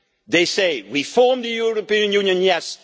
They say reform the European Union, yes